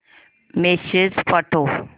message पाठव